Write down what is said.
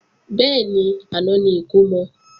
Bẹ́ẹ̀ni, àná ni ìkómọ